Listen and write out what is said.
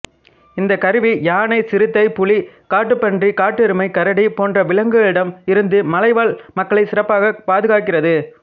இந்தக் கருவி யானை சிறுத்தை புலி காட்டுப்பன்றி காட்டெருமை கரடி போன்ற விலங்குகளிடம் இருந்து மலைவாழ் மக்களைச் சிறப்பாக பாதுகாக்கிறது